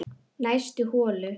Næst holu